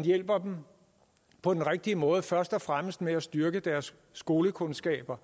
hjælper dem på den rigtige måde og først og fremmest ved at styrke deres skolekundskaber